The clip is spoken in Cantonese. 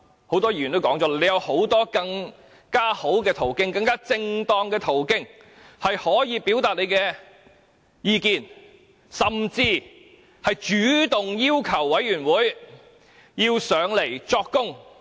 很多議員也曾提及，他有很多更好及更正當的途徑可以表達意見，他甚至可以主動要求出席專責委員會會議作供。